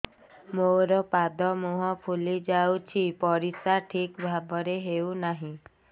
ମୋର ପାଦ ମୁହଁ ଫୁଲି ଯାଉଛି ପରିସ୍ରା ଠିକ୍ ଭାବରେ ହେଉନାହିଁ